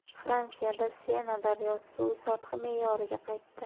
Fransiyada Sena daryosi suvi sathi me’yoriga qaytdi.